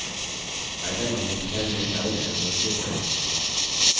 item named cell में down arrow पर click करें